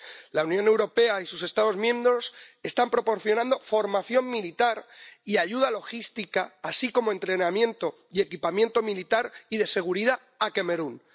La Unión Europea y sus Estados miembros están proporcionando formación militar y ayuda logística, así como entrenamiento y equipamiento militar y de seguridad, a Camerún.